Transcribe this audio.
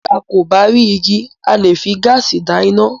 Bí a kò bá rí igi, a leè fi gaasi dá iná.